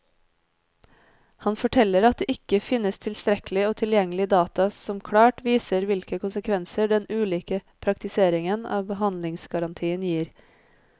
Han forteller at det ikke finnes tilstrekkelig og tilgjengelig data som klart viser hvilke konsekvenser den ulike praktiseringen av behandlingsgarantien gir.